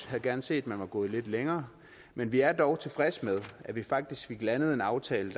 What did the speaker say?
havde gerne set man var gået lidt længere men vi er dog tilfredse med at vi faktisk fik landet en aftale